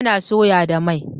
Ana soya da mai